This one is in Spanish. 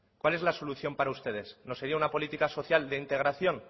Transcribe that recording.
cuál es la solución para ustedes no sería una política social de integración